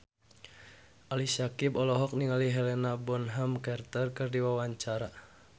Ali Syakieb olohok ningali Helena Bonham Carter keur diwawancara